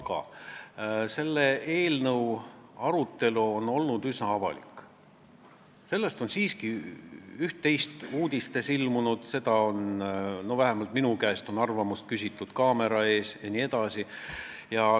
Aga selle eelnõu arutelu on olnud üsna avalik, sellest on üht-teist uudistes ilmunud ja vähemalt minu käest on selle kohta kaamera ees küsitud jne.